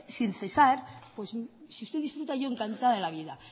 sin cesar si usted disfruta yo encantada de la vida